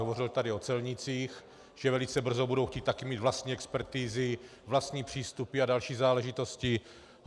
Hovořili tady o celnících, že velice brzo budou chtít taky mít vlastní expertizy, vlastní přístupy a další záležitosti.